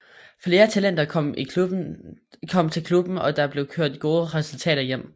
Flere talenter kom til klubben og der blev kørt gode resultater hjem